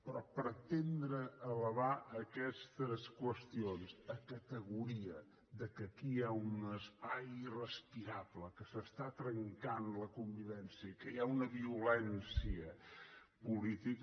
però pretendre elevar aquestes qüestions a categoria que aquí hi ha un espai irrespirable que es trenca la convivència i que hi ha una violència política